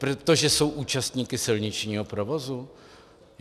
Protože jsou účastníky silničního provozu?